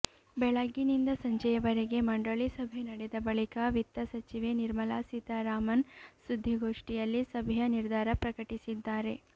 ಬೆಳಗ್ಗಿನಿಂದ ಸಂಜೆಯ ವರೆಗೆ ಮಂಡಳಿ ಸಭೆ ನಡೆದ ಬಳಿಕ ವಿತ್ತ ಸಚಿವೆ ನಿರ್ಮಲಾ ಸೀತಾರಾಮನ್ ಸುದ್ದಿಗೋಷ್ಠಿಯಲ್ಲಿ ಸಭೆಯ ನಿರ್ಧಾರ ಪ್ರಕಟಿಸಿದ್ದಾರೆ